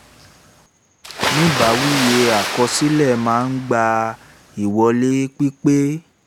ni báyìíìwé àkọsílẹ̀ máa ń gba ìwọlé pípé